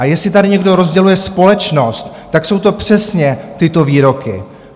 A jestli tady někdo rozděluje společnost, tak jsou to přesně tyto výroky.